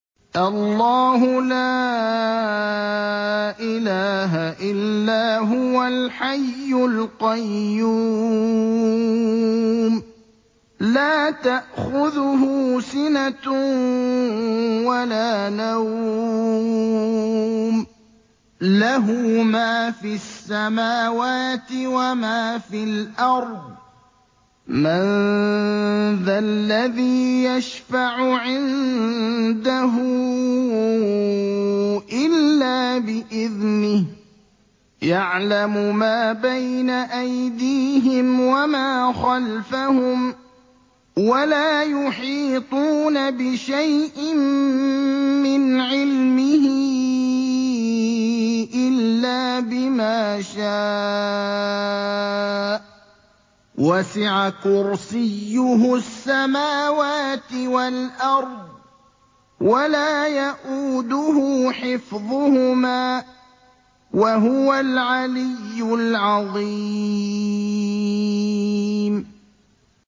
اللَّهُ لَا إِلَٰهَ إِلَّا هُوَ الْحَيُّ الْقَيُّومُ ۚ لَا تَأْخُذُهُ سِنَةٌ وَلَا نَوْمٌ ۚ لَّهُ مَا فِي السَّمَاوَاتِ وَمَا فِي الْأَرْضِ ۗ مَن ذَا الَّذِي يَشْفَعُ عِندَهُ إِلَّا بِإِذْنِهِ ۚ يَعْلَمُ مَا بَيْنَ أَيْدِيهِمْ وَمَا خَلْفَهُمْ ۖ وَلَا يُحِيطُونَ بِشَيْءٍ مِّنْ عِلْمِهِ إِلَّا بِمَا شَاءَ ۚ وَسِعَ كُرْسِيُّهُ السَّمَاوَاتِ وَالْأَرْضَ ۖ وَلَا يَئُودُهُ حِفْظُهُمَا ۚ وَهُوَ الْعَلِيُّ الْعَظِيمُ